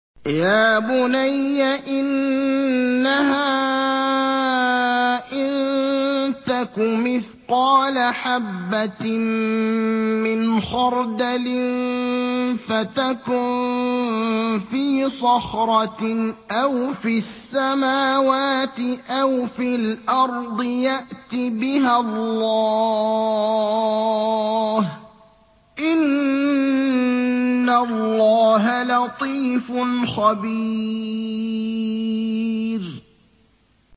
يَا بُنَيَّ إِنَّهَا إِن تَكُ مِثْقَالَ حَبَّةٍ مِّنْ خَرْدَلٍ فَتَكُن فِي صَخْرَةٍ أَوْ فِي السَّمَاوَاتِ أَوْ فِي الْأَرْضِ يَأْتِ بِهَا اللَّهُ ۚ إِنَّ اللَّهَ لَطِيفٌ خَبِيرٌ